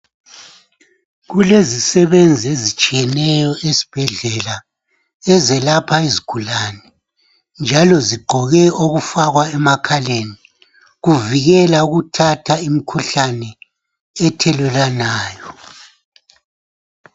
Kulezisebenzi ezitshiyeneyo esibhedlela ezelapha izigulane njalo zigqoke okufakwa emakhaleni kuvikela ukuthatha imikhuhlane ethelelwanayo